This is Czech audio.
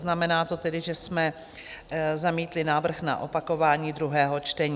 Znamená to tedy, že jsme zamítli návrh na opakování druhého čtení.